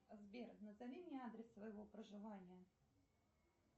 сбер назови мне адрес своего проживания